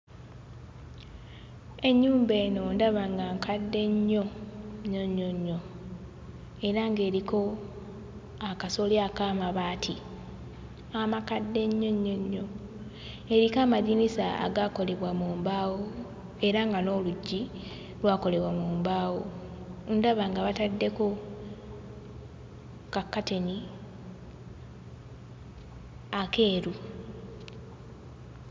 Ennyumba eno ndaba nga nkadde nnyo nnyo nnyo nnyo, era ng'eriko akasolya ak'amabaati amakadde ennyo nnyo nnyo, eriko amadinisa agaakolebwa mu mbaawo era nga n'oluggi lwakolebwa mu mbaawo. Ndaba nga bataddeko kakkateni akeeru.